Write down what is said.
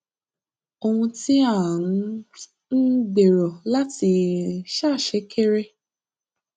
ohun tí à ń um gbèrò láti um ṣe kéré